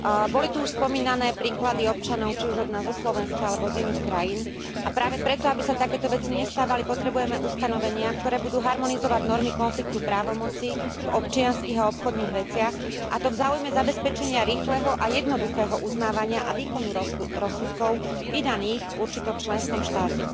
Boli tú už spomínané príklady občanov, či už od nás zo Slovenska, alebo z iných krajín, a práve preto, aby sa takéto veci nestávali potrebujeme ustanovenia, ktoré budú harmonizovať normy konfliktu právomoci v občianskych a obchodných veciach, a to v záujme zabezpečenia rýchleho a jednoduchého uznávania a výkonu rozsudkov vydaných v určitom členskom štáte.